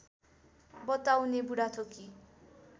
बताउने बुढाथोकी